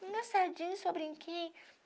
só brinquei.